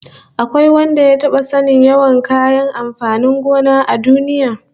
Akwai wanda ya taba sanin yawan kayan amfanin gona a duniya?